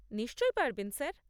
নিশ্চয়ই পারবেন স্যার।